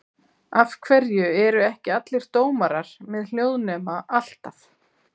Af hverju eru ekki allir dómarar með hljóðnema alltaf?